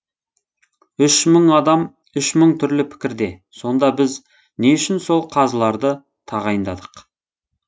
үш мың адам үш мың түрлі пікірде сонда біз не үшін сол қазыларды тағайындадық